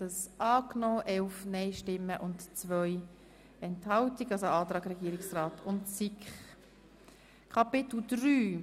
Der Grosse Rat hat den obsiegenden Antrag SiK und Regierungsrat zu Artikel 16 Absatz 4 angenommen.